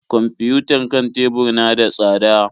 Kwamfiyutar kan tebur na da tsada.